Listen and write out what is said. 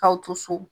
K'aw to so